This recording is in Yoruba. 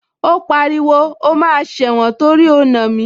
Ó pariwo, o máa sẹ̀wọ̀n torí o nà mí